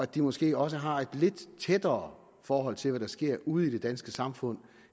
de måske også har et lidt tættere forhold til hvad der sker ude i det danske samfund